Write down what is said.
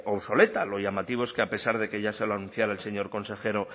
obsoleta lo llamativo es que a pesar de que ya se lo anunciara el señor consejero